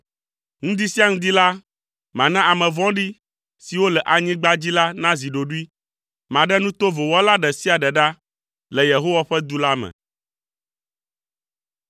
Ŋdi sia ŋdi la, mana ame vɔ̃ɖi siwo le anyigba dzi la nazi ɖoɖoe. Maɖe nu tovo wɔla ɖe sia ɖe ɖa le Yehowa ƒe du la me.